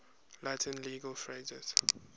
latin legal phrases